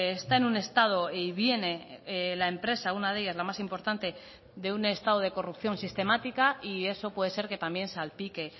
está en un estado y viene la empresa una de ellas la más importante de un estado de corrupción sistemática y eso puede ser que también salpique